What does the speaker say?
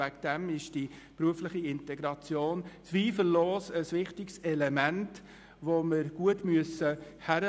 Aus diesem Grund ist die berufliche Integration zweifellos ein wichtiges Element, welches wir gut prüfen müssen.